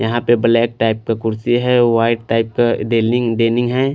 यहाँ पर black type का कुर्सी है और वाइट टाइप का डेनी डेनी है।